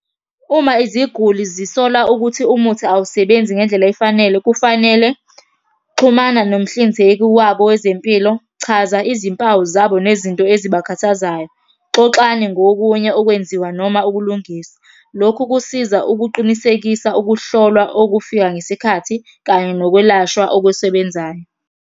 Uma iziguli zisola ukuthi umuthi awusebenzi ngendlela efanele, kufanele. Xhumana nomhlinzeki wabo wezempilo, chaza izimpawu zabo nezinto ezibakhathazayo. Xoxani ngokunye okwenziwa noma ukulungisa. Lokhu kusiza ukuqinisekisa ukuhlolwa okufika ngesikhathi, kanye nokwelashwa okusebenzayo.